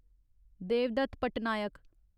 Devdutt Patnaik